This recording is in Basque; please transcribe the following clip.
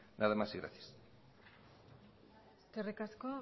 nada más y gracias eskerrik asko